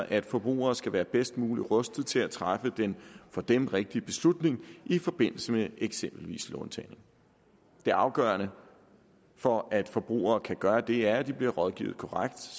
at forbrugere skal være bedst muligt rustet til at træffe den for dem rigtige beslutning i forbindelse med eksempelvis låntagning det afgørende for at forbrugere kan gøre det er at de bliver rådgivet korrekt